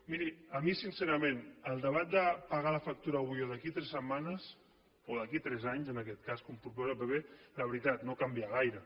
miri a mi sincerament el debat de pagar la factura avui o d’aquí a tres setmanes o d’aquí a tres anys en aquest cas com proposa el pp de veritat no ho canvia gaire